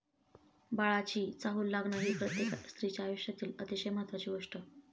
बाळाची चाहूल लागणं ही प्रत्येक स्त्रीच्या आयुष्यातील अतिशय महत्त्वाची गोष्ट.